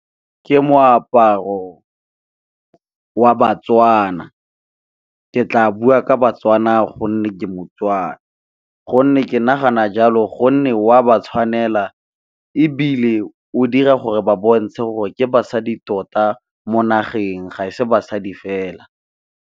Ke moaparo wa baTswana, ke tla bua ka baTswana gonne ke moTswana gonne ke nagana jalo gonne o a ba tshwanela, ebile o dira gore ba bontshe gore ke basadi tota mo nageng ga e se basadi fela.